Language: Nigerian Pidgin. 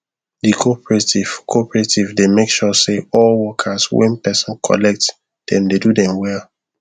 the cooperative cooperative dey make sure say all workers wen person collect dem dey do them well